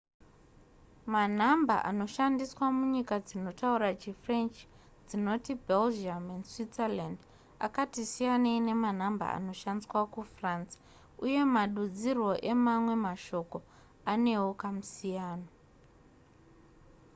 manhamba anoshandiswa munyika dzinotaura chifrench dzinoti belgium neswirzerland akati siyanei nemanhamba anoshandiswa kufrance uye madudzirwo emamwe mashoko anewo kamusiyano